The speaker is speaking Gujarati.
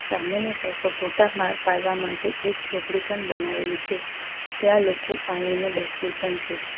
સામેની સાઈડ પર ફોટા પાડવા માટે એક જોપડી પણ બનાવેલી છે ત્યાં લોકો આવીને બેસે પણ છે.